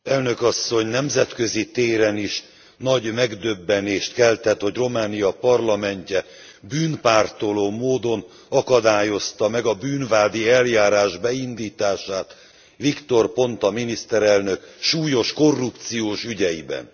Elnök Asszony, nemzetközi téren is nagy megdöbbenést keltett, hogy Románia parlamentje bűnpártoló módon akadályozta meg a bűnvádi eljárás beindítását Victor Ponta miniszterelnök súlyos korrupciós ügyeiben.